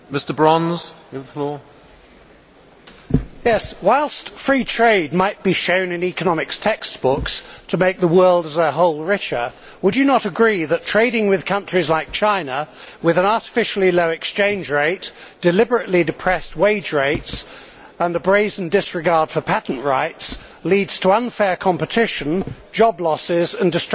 Whilst free trade might be shown in economic textbooks to make the world as a whole richer, would you not agree that trading with countries like China, with an artificially low exchange rate, deliberately depressed wage rates and a brazen disregard for patent rights, leads to unfair competition, job losses and destruction of industry in the developed world, particularly Europe?